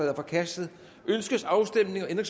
er forkastet ønskes afstemning